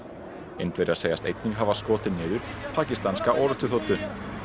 Indverjar segjast einnig hafa skotið niður pakistanska orrustuþotu